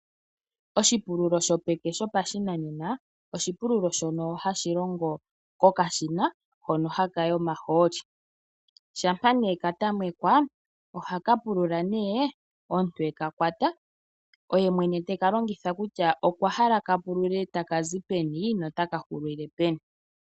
Oshipululo shopeke shopashinanena, oshipululo shono hashi longo kokashina hono haka yi omahooli, shampa nee ka tamekwa ohaka pulula nee omuntu e ka kwata, oye mwene te ka longitha kutya okwa hala ka pulule taka zi peni nota ka hulile peni.